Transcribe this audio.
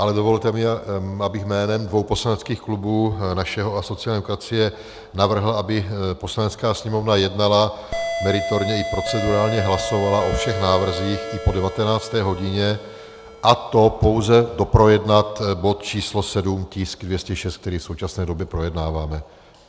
Ale dovolte mi, abych jménem dvou poslaneckých klubů, našeho a sociální demokracie, navrhl, aby Poslanecká sněmovna jednala, meritorně i procedurálně hlasovala o všech návrzích i po 19. hodině, a to pouze doprojednat bod číslo 7, tisk 206, který v současné době projednáváme.